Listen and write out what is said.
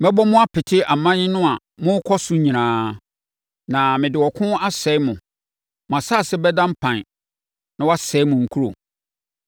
Mɛbɔ mo apete aman no a morekɔ so nyinaa, na mede ɔko asɛe mo. Mo asase bɛda mpan na wɔasɛe mo nkuro.